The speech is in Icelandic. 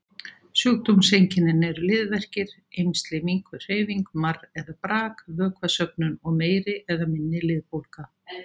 Sjúkdómseinkennin eru liðverkir, eymsli, minnkuð hreyfing, marr eða brak, vökvasöfnun og meiri eða minni liðbólga.